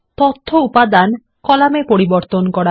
তথ্য উপাদান কলামে পরিবর্তন করা